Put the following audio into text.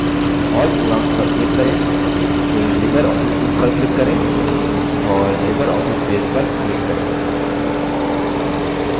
all programs पर click करें फिर libreoffice suite पर click करें और libreoffice base पर click करें